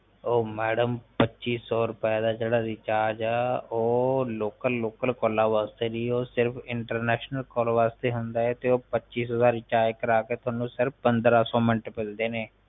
ਓ madam ਪੱਚੀ ਸੋ ਰੁਪਏ ਦਾ ਜਿਹੜਾ ਰਿਚਾਰਜ ਹੈ ਉਹ ਲੋਕਲ ਲੋਕਲ ਕਾਲਾ ਵਾਸਤੇ ਨਹੀਂ ਉਹ ਸਿਰਫ international ਕਾਲਾ ਵਾਸਤੇ ਹੁੰਦਾ ਹੈ ਤੇ ਉਹ ਪੱਚੀ ਸੋ ਦਾ ਰਿਚਾਰਜ ਕਰਵਾਕੇ ਤੁਹਾਨੂੰ ਸਿਰਫ ਪੰਦਰਾਂ ਸੋ ਮਿੰਟ ਮਿਲਦੈ ਹਨ